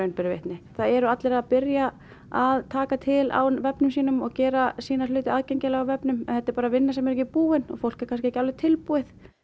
ber vitni það eru allir að byrja að taka til á vefnum sínum og gera sína hluti aðgengilega á vefnum en þetta er bara vinna sem er ekki búin og fólk er kannski ekki tilbúið